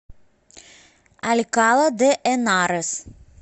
алькала де энарес